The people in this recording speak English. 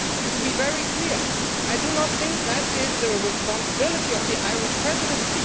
To be very clear I do not think that is the responsibility of the Irish Presidency.